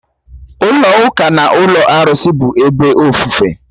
Ụlọ ụka na ụlọ arụsị bụ ebe ofufe